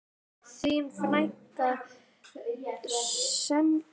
Þín frænka, Selma.